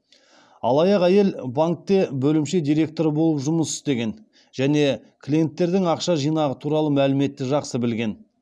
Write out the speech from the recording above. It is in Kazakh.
алаяқ әйел банкте бөлімше директоры болып жұмыс істеген және клиенттердің ақша жинағы туралы мәліметті жақсы білген